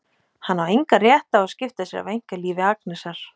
Hann á engan rétt á að skipta sér af einkalífi Agnesar.